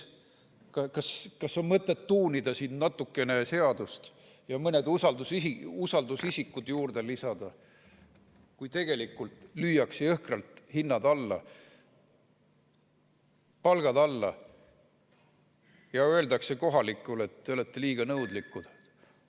Kas on mõtet tuunida siin natukene seadust ja mõned usaldusisikud juurde lisada, kui tegelikult lüüakse jõhkralt palgad alla ja öeldakse kohalikele, et te olete liiga nõudlikud?